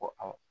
Ko a